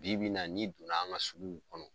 Bi Bi in na ni donna an ga suguw kɔnɔ